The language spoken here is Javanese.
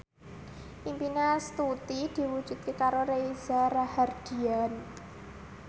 impine Astuti diwujudke karo Reza Rahardian